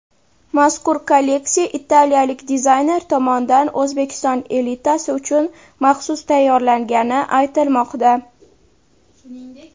Mazkur kolleksiya italiyalik dizayner tomonidan O‘zbekiston elitasi uchun maxsus tayyorlangani aytilmoqda.